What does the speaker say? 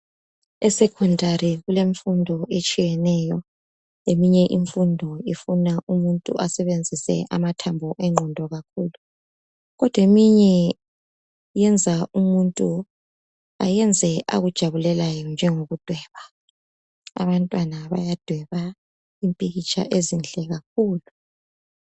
Esecondary kulemfundo etshiyeneyo, eyinye imfundo ifuna umuntu asebenzise amathambo engqondo kakhulu kodwa eminye yenza umuntu ayenze akujabulelayo njengokudweba. Abantwana bayadweba impikitsha emihle kakhulu.